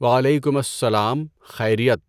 وعلیکم السّلام، خیریت؟